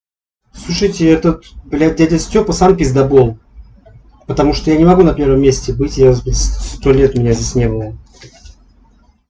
слушайте этот блядь дядя стёпа сам пиздабол потому что я не могу на первом месте быть я з сто лет меня здесь не было